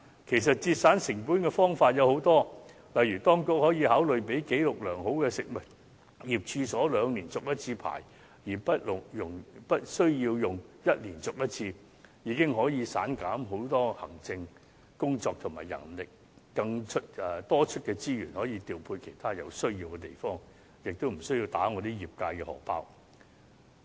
節省成本的方法有很多，例如當局可以考慮讓紀錄良好的食物業處所兩年才續牌1次，而無須每年續牌，這已能減省很多行政工作和人力，多出的資源既可調配到其他有需要的地方，亦無須打我們業界"荷包"。